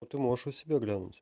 ты можешь у себя глянуть